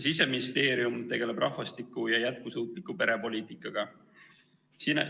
Siseministeerium tegeleb rahvastikupoliitika ja jätkusuutliku perepoliitikaga.